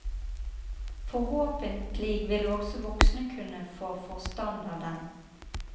Forhåpentlig vil også voksne kunne få forstand av den.